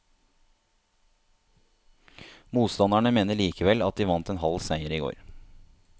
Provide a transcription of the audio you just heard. Motstanderne mener likevel at de vant en halv seier i går.